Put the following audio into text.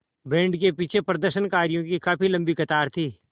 band के पीछे प्रदर्शनकारियों की काफ़ी लम्बी कतार थी